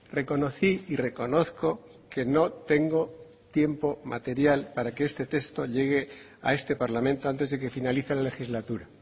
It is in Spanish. reconocí y reconozco que no tengo tiempo material para que este texto llegue a este parlamento antes de que finalice la legislatura